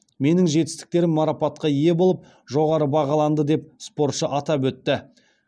менің жетістіктерім марапатқа ие болып жоғары бағаланды деп спортшы атап өтті